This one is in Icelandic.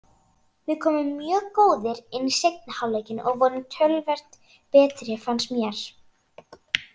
Við komum mjög góðir inn í seinni hálfleikinn og vorum töluvert betri fannst mér.